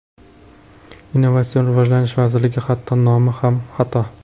Innovatsion rivojlanish vazirligi hatto nomi ham xato.